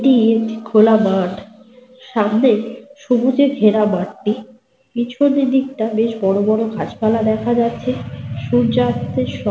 এ একটি লোককে দাঁড়িয়ে থাকতে দেখা যাচ্ছে। ছবিটি অত্যন্ত সুন্দর লাগছে। মাঠটি পাঁচিলে ঘের --